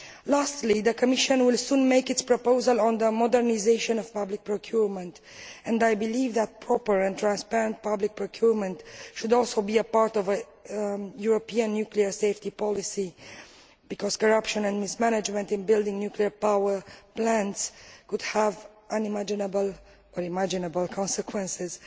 Lastly, the Commission will soon make its proposal on the modernisation of public procurement, and I believe that proper and transparent public procurement should also be a part of a European nuclear safety policy because corruption and mismanagement in building nuclear power plants could have unimaginable or imaginable consequences.